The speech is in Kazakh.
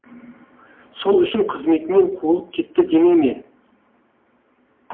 сол үшін қызметінен қуылып кетті демей ме